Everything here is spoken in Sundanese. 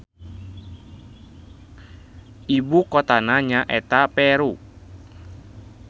Ibu kotana nya eta Peru